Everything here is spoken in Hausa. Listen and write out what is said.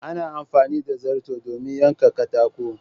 Ana Amfani da zarto domin yanka katako.